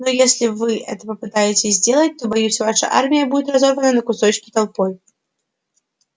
но если вы это попытаетесь сделать то боюсь ваша армия будет разорвана на кусочки толпой